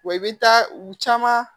Wa i bɛ taa u caman